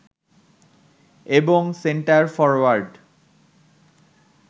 এবং centre forward